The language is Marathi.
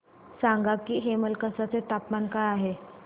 सांगा की हेमलकसा चे तापमान काय आहे